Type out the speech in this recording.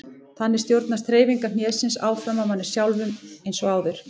Þannig stjórnast hreyfingar hnésins áfram af manni sjálfum eins og áður.